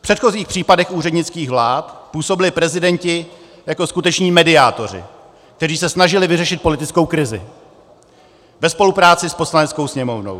V předchozích případech úřednických vlád působili prezidenti jako skuteční mediátoři, kteří se snažili vyřešit politickou krizi ve spolupráci s Poslaneckou sněmovnou.